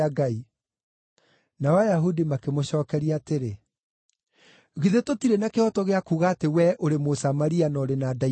Nao Ayahudi makĩmũcookeria atĩrĩ, “Githĩ tũtirĩ na kĩhooto gĩa kuuga atĩ wee ũrĩ Mũsamaria na ũrĩ na ndaimono?”